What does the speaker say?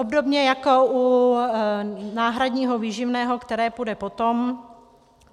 Obdobně jako u náhradního výživného, které půjde potom.